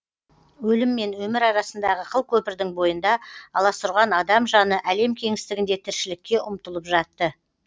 өлім мен өмір арасындағы қылкөпірдің бойында аласұрған адам жаны әлем кеңістігінде тіршілікке ұмтылып жатты